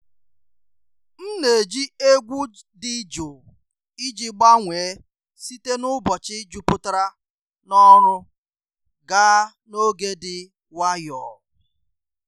M na-eji egwu dị jụụ iji gbanwee site n’ụbọchị jupụtara n’ọrụ gaa n’oge dị nwayọọ.